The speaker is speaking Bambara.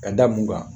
Ka da mun kan